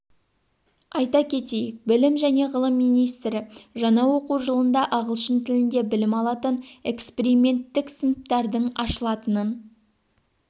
айта кетейік білім және ғылым министрі жаңа оқу жылында ағылшын тілінде білім алатын эксперименттік сыныптардың ашылатынын